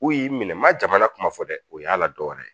U y'i minɛ n ma jamana kuma fɔ dɛ o y'a la dɔwɛrɛ ye